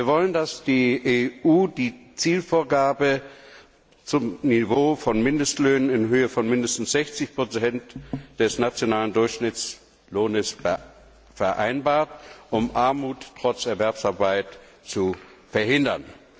Wir wollen, dass die EU die Zielvorgabe zum Niveau von Mindestlöhnen in Höhe von mindestens 60 des nationalen Durchschnittslohns vereinbart, um Armut trotz Erwerbsarbeit zu verhindern.